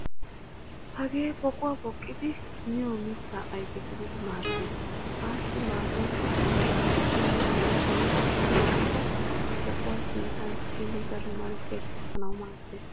Hagee poquwaa poqqidi miyo mitta ayfe gadidi maaddees. Assi maadoykka poqqidi min namisawu qassikka a poqquwa sinttan tiyin daro malkiya kessanawu maaddees.